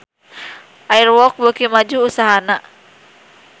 Air Walk beuki maju usahana